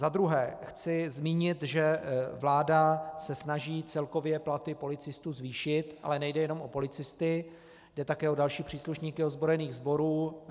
Za druhé chci zmínit, že vláda se snaží celkově platy policistů zvýšit, ale nejde jenom o policisty, jde také o další příslušníky ozbrojených sborů.